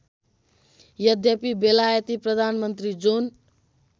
यद्यपि बेलायती प्रधानमन्त्री जोन